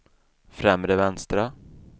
främre vänstra